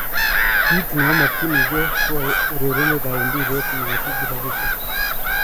Kit neomokyinige ko aureren mbiret mo osich rapishek.